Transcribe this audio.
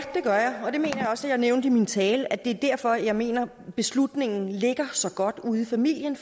også at jeg nævnte i min tale altså at det er derfor jeg mener at beslutningen ligger så godt ude i familien